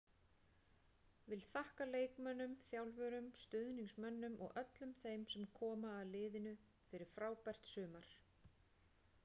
Vill þakka leikmönnum, þjálfurum, stuðningsmönnum og öllum þeim sem koma að liðinu fyrir frábært sumar.